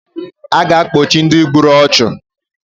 A ga-akpochi Ndị gburu ọchụ